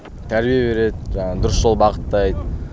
тәрбие береді жаңағы дұрыс жол бағыттайды